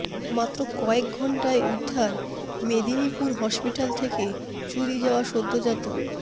মাত্র কয়েক ঘণ্টায় উদ্ধার মেদিনীপুর হসপিটাল থেকে চুরি যাওয়া সদ্যজাত